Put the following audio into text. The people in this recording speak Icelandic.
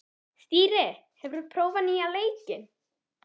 Þyrí, hefur þú prófað nýja leikinn?